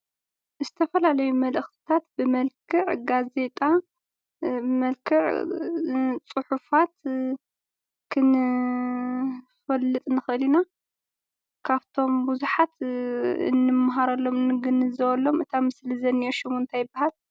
ዝተፈላለዩ መልእክትታት ብመልክዕ ጋዜጣ ብመልክዕ ፅሑፋት ክንፈልጥ ንክእል ኢና። ካብቶም ብዙሓት እንመሃረሎምን እንግንዘበሎምን እቲ አብ ምስሊ ዝንኤ ሽሙ እንታይ ይበሃል?